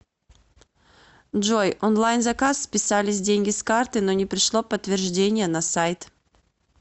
джой онлайн заказ списались деньги с карты но не пришло подтверждение на сайт